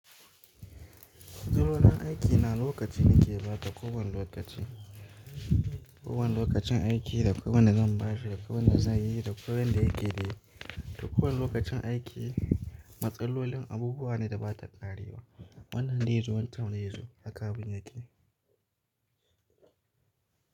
Matsalolin aiki na lokaci nake bata kowani lokaci, dakowan lokacin aiki, dakowan da zan ba shi, dakowan da zan yi, dakowan da yake yi, dakowan lokacin aiki. Matsalolin abubuwa ne da ba ta ƙarewa wannan daizo waccan daizu a kabin aiki.